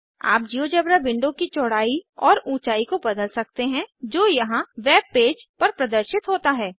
आप GeoGebra window की चौड़ाई और ऊंचाई को बदल सकते हैं जो यहाँ वेबपेज पर प्रदर्शित होता है